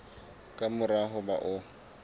ka mora ho ba o